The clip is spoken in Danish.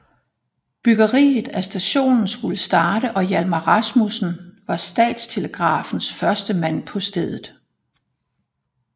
Byggeriet af stationen skulle starte og Hjalmar Rasmussen var Statstelegrafens første mand på stedet